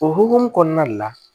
O hokumu kɔnɔna le la